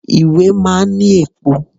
Ìwé máa ń ní èpo.